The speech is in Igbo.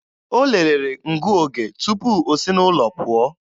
O lelere ngụoge tupu o si n'ụlọ pụọ